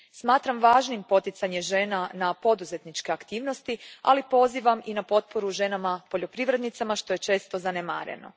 Smatram važnim poticanje žena na poduzetničke aktivnosti, ali pozivam i na potporu ženama poljoprivrednicama što je često zanemareno.